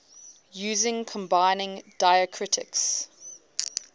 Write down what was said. using combining diacritics